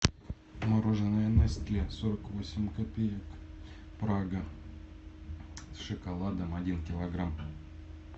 мороженое нестле сорок восемь копеек прага с шоколадом один килограмм